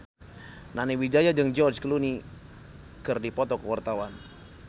Nani Wijaya jeung George Clooney keur dipoto ku wartawan